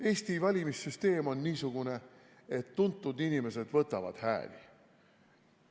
Eesti valimissüsteem on niisugune, et tuntud inimesed võtavad hääli.